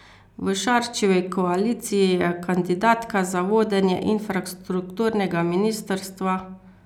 V Šarčevi koaliciji je kandidatka za vodenje infrastrukturnega ministrstva.